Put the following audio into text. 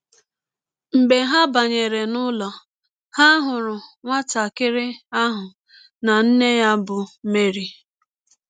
Mgbe ha banyere n’ụlọ, ha hụrụ nwatakịrị ahụ na nne ya bụ́ Meri. ”